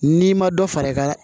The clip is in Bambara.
N'i ma dɔ fara i ka